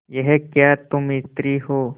यह क्या तुम स्त्री हो